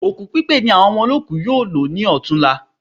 Òkú pípé ni àwọn ọmọ olóòku yóò lò ní ọ̀tunla